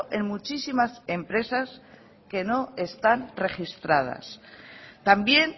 en muchísimas empresas que no están registradas también